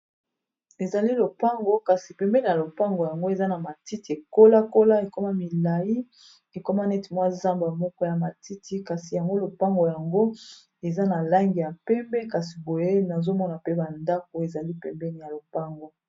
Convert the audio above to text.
Ezali lopango kasi pembeni ya lopango yango eza na matiti ekola kola ekoma milayi ekoma neti mwa zamba moko ya matiti kasi yango lopango yango eza na langi ya pembe kasi boye nazomona pe ba ndako ezali pembeni ya lopango.